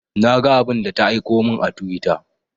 Na ga abun da ta aiko mun a twitter